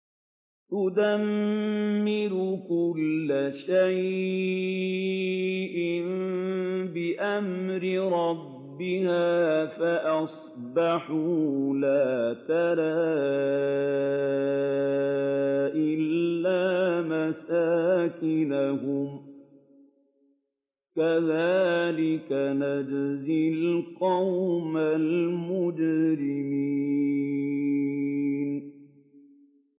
تُدَمِّرُ كُلَّ شَيْءٍ بِأَمْرِ رَبِّهَا فَأَصْبَحُوا لَا يُرَىٰ إِلَّا مَسَاكِنُهُمْ ۚ كَذَٰلِكَ نَجْزِي الْقَوْمَ الْمُجْرِمِينَ